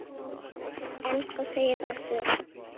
En hvað segir Össur?